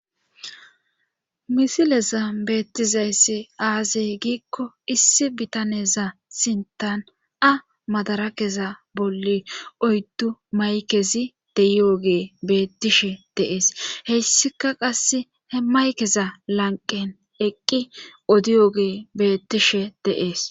misilezan beettizayssi aazey giikko issi bitaneza sintan a madarakeza bolli oyddu maykezi deyyoge beettishe dee'es hessika qasse he maykeza lanqen eqqi odiyoge beettishe dee'es